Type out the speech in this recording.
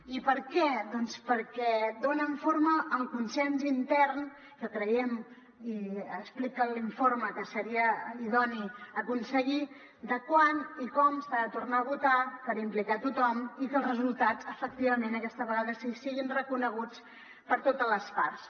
i per què doncs perquè donen forma al consens intern que creiem i explica l’informe que seria idoni aconseguir lo de quan i com s’ha de tornar a votar per implicar hi tothom i que els resultats efectivament aquesta vegada sí siguin reconeguts per totes les parts